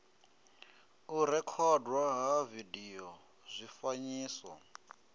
u rekhodwa ha vidio zwifanyiso